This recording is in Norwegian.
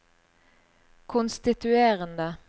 konstituerende